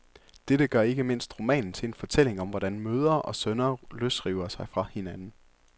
Dette gør ikke mindst romanen til en fortælling om, hvordan mødre og sønner løsriver sig fra hinanden.